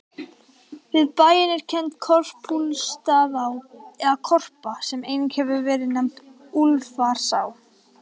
Við bæinn er kennd Korpúlfsstaðaá, eða Korpa, sem einnig hefur verið nefnd Úlfarsá.